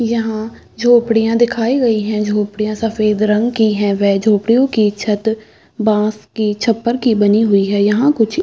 यहाँ झोपड़ियां दिखाई गई है झोपड़ियां सफ़ेद रंग की है व झोपड़ियों की छत बास की छप्पर की बनी हुई है यहाँ कुछ --